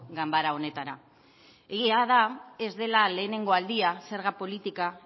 ganbara honetara egia da ez dela lehenengo aldia zerga politika